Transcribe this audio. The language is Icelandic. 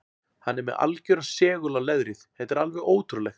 Hann er með algjöran segul á leðrið, þetta er alveg ótrúlegt.